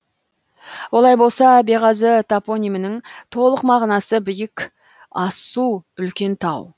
олай болса беғазы топонимінің толық мағынасы биік асу үлкен тау